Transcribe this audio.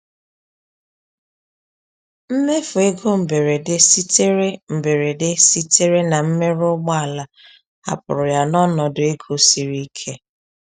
Mmefu ego mberede sitere mberede sitere na mmerụ ụgbọala hapụrụ ya n’ọnọdụ ego siri ike.